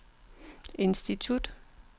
institut